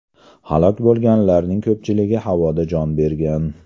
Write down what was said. Halok bo‘lganlarning ko‘pchiligi havoda jon bergan.